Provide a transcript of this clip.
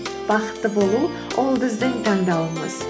бақытты болу ол біздің таңдауымыз